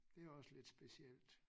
Det også lidt specielt